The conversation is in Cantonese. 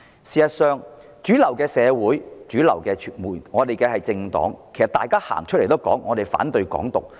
事實上，主流社會及主流政黨均公開表示反對"港獨"。